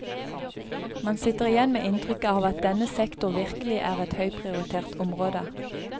Man sitter igjen med inntrykket av at denne sektor virkelig er et høyprioritert område.